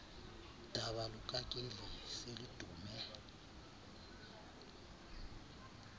daba lukakeli seludume